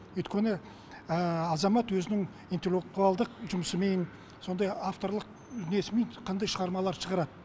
өйткені азамат өзінің интеллектуалдық жұмысымен сондай авторлық несімен қандай шығармаларды шығарады